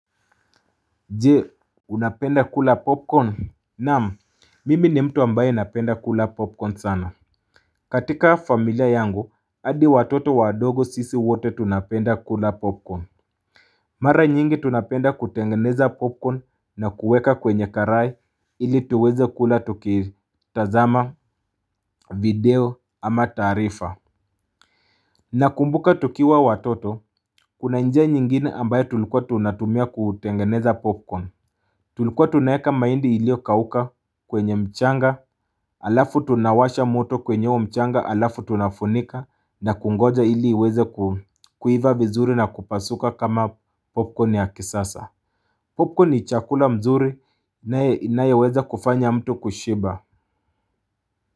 Je unapenda kula popcorn Naam mimi ni mtu ambaye napenda kula popcorn sana katika familia yangu hadi watoto wadogo sisi wote tunapenda kula popcorn Mara nyingi tunapenda kutengeneza popcorn na kuweka kwenye karai ili tuweze kula tuki tazama video ama taarifa Nakumbuka tukiwa watoto kuna njia nyingine ambayo tulikuwa tunatumia kutengeneza popcorn Tulikuwa tunaeka maindi ilio kauka kwenye mchanga, alafu tunawasha moto kwenye mchanga, alafu tunafunika na kungoja ili weze kuiva vizuri na kupasuka kama popcorn ya kisasa. Popcorn ni chakula mzuri inayeweza kufanya mtu kushiba.